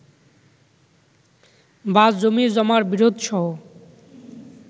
বা জমি-জমার বিরোধসহ